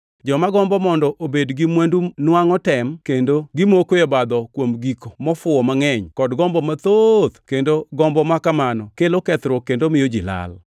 Joma gombo mondo obed gi mwandu nwangʼo tem kendo gimoko e obadho kuom gik mofuwo mangʼeny kod gombo mathoth kendo gombo ma kamano kelo kethruok kendo miyo ji lal.